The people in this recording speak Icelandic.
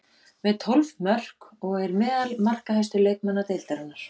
Með tólf mörk og er meðal markahæstu leikmanna deildarinnar.